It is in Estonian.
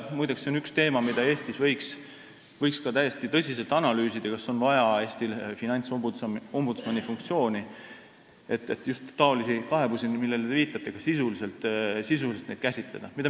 Muide, see on üks teema, mida võiks ka täiesti tõsiselt analüüsida – kas Eestis on vaja finantsombudsmani funktsiooni, et just niisuguseid kaebusi, millele te viitate, ka sisuliselt käsitleda.